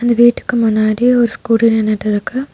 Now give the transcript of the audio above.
இந்த வீட்டுக்கு முன்னாடி ஒரு ஸ்கூட்டி நின்னுட்டிருக்கு.